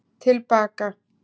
Til baka